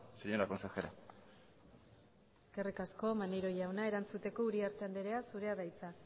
señora consejera eskerrik asko maneiro jauna erantzuteko uriarte andrea zurea da hitza